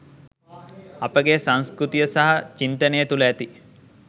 අපගේ සංස්කෘතිය සහ චින්තනය තුල ඇති